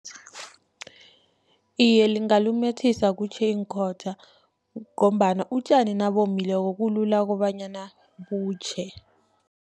Iye, lingalumethisa kutjhe iinkhotha, ngombana utjani nabomileko kulula kobanyana butjhe.